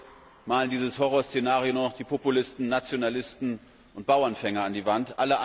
Heute malen dieses Horrorszenario nur noch die Populisten, Nationalisten und Bauernfänger an die Wand.